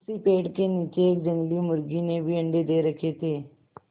उसी पेड़ के नीचे एक जंगली मुर्गी ने भी अंडे दे रखें थे